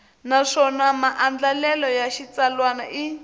naswona maandlalelo ya xitsalwana i